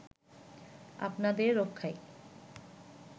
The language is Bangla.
আপনাদের রক্ষায়